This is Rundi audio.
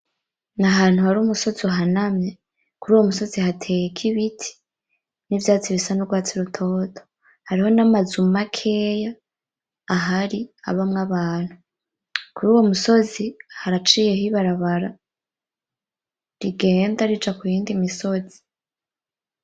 N’ahantu hari umusozi uhanamye, kuruwo musozi hateyeko ibiti n'ivyatsi bisa n'urwatsi rutoto, hariho n'amazu makeya ahari abamwo abantu, kuruwo musozi haraciyeho ibarabara rigenda rija kuyindi misozi.